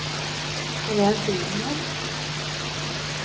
Helen Frydenlund